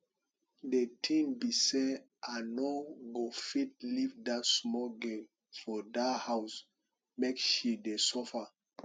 the thing be say i no go fit leave dat small girl for dat house make she dey suffer